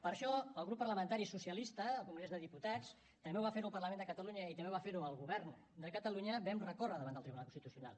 per això el grup parlamentari socialista al congrés dels diputats també ho va fer el parlament de catalunya i també va fer ho el govern de catalunya vam recórrer davant del tribunal constitucional